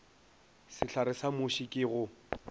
sehlare sa muši ke go